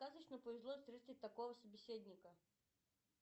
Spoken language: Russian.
сказочно повезло встретить такого собеседника